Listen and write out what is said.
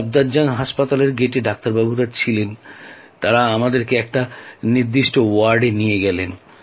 সাফদারজং হাসপাতালে ডাক্তাররা গেটে উপস্থিত ছিলেন তাঁরা আমাদেরকে নির্দিষ্ট ওয়ার্ডে নিয়ে গেলেন